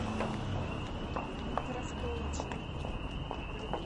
крафтолоджи